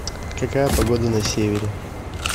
какая погода на севере